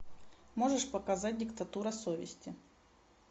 можешь показать диктатура совести